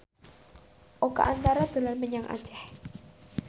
Oka Antara dolan menyang Aceh